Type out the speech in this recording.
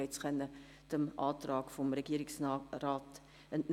Sie konnten es dem Antrag des Regierungsrates entnehmen.